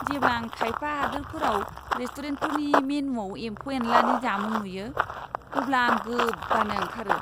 जेब्ला आं खायफा हादोरफोराव रेस्टुरेन्टफोरनि मेनुआव एमफौ एनलानि जामुं नुयो, अब्ला आं गोबानो ओंखारो!